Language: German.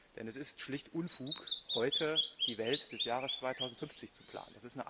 Denn es ist schlicht Unfug, heute die Welt des Jahres 2050 zu planen.